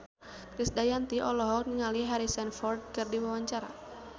Krisdayanti olohok ningali Harrison Ford keur diwawancara